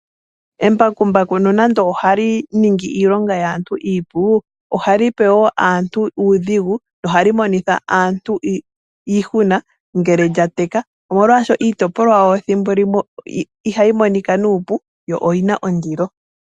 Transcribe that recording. Embakumbaku nonando ohali ningi iilonga yaantu iipu, ohalipe wo aantu uudhigu lyo ohali monitha aantu iihuna ngele lyateka, omolwashoka iitopolwa yalyo thimbolimwe ihayi monika nuupu yo oyina ondilo.